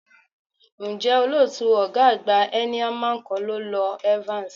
Ǹjẹ́ olótùú ọ̀gá àgbà Heineman kọ́ ló lọ Evans?